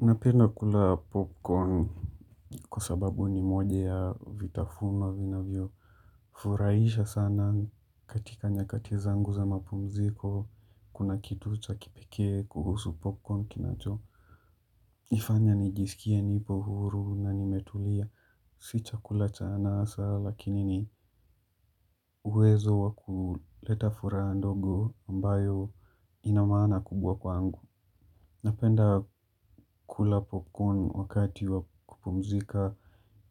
Napenda kula popcorn kwa sababu ni moja ya vitafunwa vinavyo. Furaisha sana katika nyakati zangu za mapumziko. Kuna kitu cha kipike kuhusu popcorn kinacho. Ifanya nijisikie nipo huru na nimetulia. Si chakula cha anasa lakini ni uwezo wa kuleta furaha ndogo ambayo ina maana kubwa kwangu. Napenda kula popcorn wakati wa kupumzika.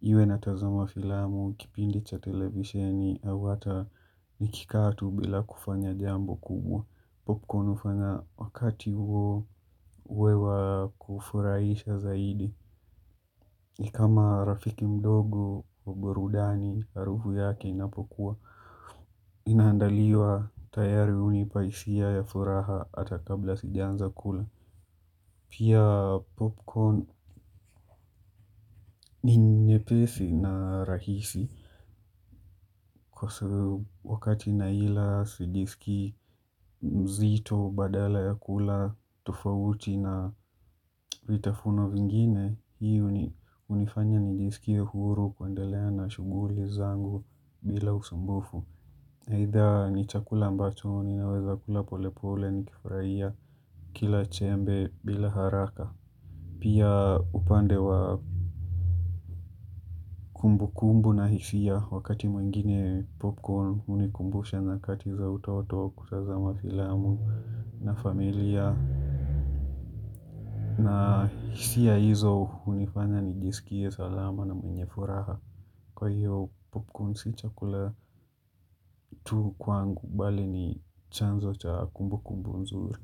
Iwe natazama filamu, kipindi cha televisheni, au hata nikikaa tu bila kufanya jambo kubwa. Popcorn ufanya wakati uwe wa kufurahisha zaidi. Ni kama rafiki mdogo, wa burudani, harufu yake inapokua. Ninaandaliwa tayari unipa hisia ya furaha hata kabla sijaanza kula. Pia popcorn ni nyepesi na rahisi. Kwa wakati naila sijisikii mzito badala ya kula tofauti na vitafunwa vingine, hii unifanya nijisikie huru kuendelea na shunguli zangu bila usumbufu. Either ni chakula ambacho, ninaweza kula polepole nikifuraia kila chembe bila haraka. Pia upande wa kumbukumbu na hisia wakati mwengine popcorn unikumbusha nyakati za utoto kutazama filamu na familia na hisia hizo unifanya nijisikie salama na mwenye furaha. Kwa hiyo popcorn si chakula tu kwangu, bali ni chanzo cha kumbukumbu nzuri.